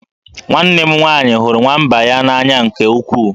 Nwanne m nwaanyị hụrụ nwamba ya n'anya nke ukwuu